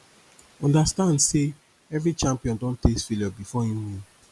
understand say every champion don taste failure before im win